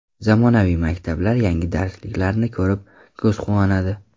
Zamonaviy maktablar, yangi darsliklarni ko‘rib, ko‘z quvonadi.